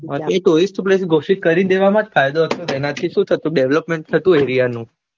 ઘોસિત કરી દેવામાં જ ફાયદો હતો એનાથી શું થતું development થતું એ area નું